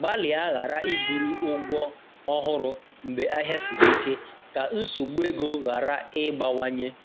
Gbalịa ghara iburu ụgwọ ọhụrụ mgbe ahịa siri ike, ka nsogbu ego ghara ịgbawanye